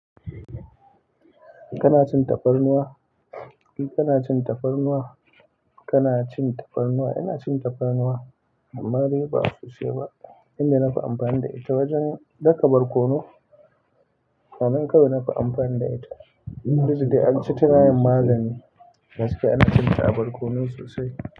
Kana cin tafarnuwa? Kana cin tafarnuwa? Kana cin tafarnuwa? Ina cin tafarnuwa amma dai ba sosai ba. Inda nafi amfana da ita wajen daka barkono. Ƙanan kawai nafi amfana da ita. Bizzday an ci ta hayan magani, gaske ana cin ta a barkono sosai.